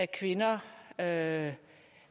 kvinder at